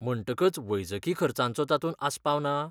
म्हणटकच वैजकी खर्चांचो तातूंत आस्पाव ना?